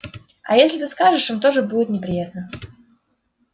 а если ты скажешь им тоже будет неприятно